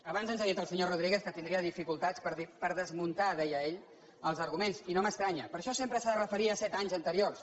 abans ens ha dit el senyor rodríguez que tindria dificultats per desmuntar deia ell els arguments i no m’estranya per això sempre s’ha de referir a set anys anteriors